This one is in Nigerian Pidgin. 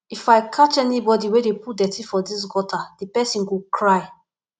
if i catch anybody wey dey put dirty for dis gutter the person go cry